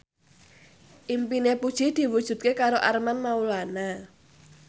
impine Puji diwujudke karo Armand Maulana